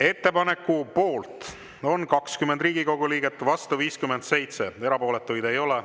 Ettepaneku poolt on 20 Riigikogu liiget, vastu 57, erapooletuid ei ole.